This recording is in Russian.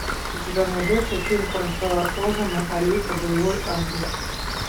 у тебя найдется фильм франсуа озона алита боевой ангел